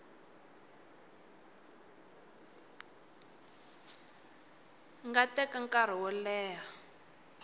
nga teka nkarhi wo leha